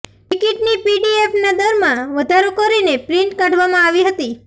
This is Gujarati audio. ટિકિટની પીડીએફનાં દરમાં વધારો કરીને પ્રિન્ટ કાઢવામાં આવી હતી